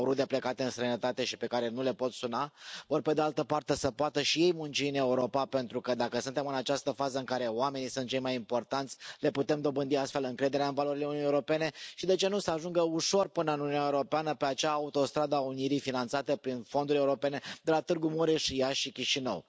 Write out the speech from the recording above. Au rude plecate în străinătate și pe care nu le pot suna, ori pe de altă parte să poată și ei munci în Europa pentru că, dacă suntem în această fază în care oamenii sunt cei mai importanți, le putem dobândi astfel încrederea în valorile Uniunii Europene și, de ce nu, să ajungă ușor până în Uniunea Europeană pe acea autostradă a unirii finanțată prin fonduri europene de la Târgu Mureș și Iași și Chișinău.